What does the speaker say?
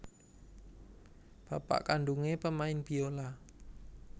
Bapak kandhungé pemain biola